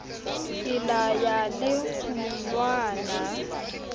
ke la ya le kgonwana